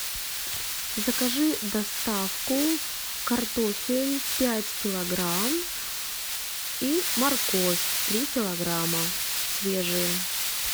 закажи доставку картофель пять килограмм и морковь три килограмма свежие